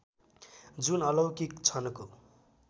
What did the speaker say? जुन अलौकिक छन्को